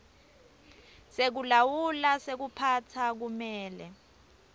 sekulawula sekuphatsa kumele